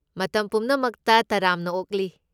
ꯃꯇꯝ ꯄꯨꯝꯅꯃꯛꯇ ꯇꯔꯥꯝꯅ ꯑꯣꯛꯂꯤ!